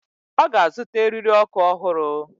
Ọ ga-azụta eriri ọkụ ọhụrụ.